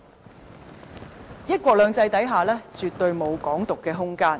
在"一國兩制"下絕對沒有"港獨"的空間。